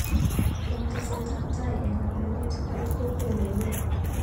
Eng teset ab tai eng ngalalet koit kokwet nenyi.